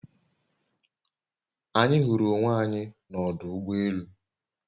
Anyi huru onwe anyi n'odu ugbo elu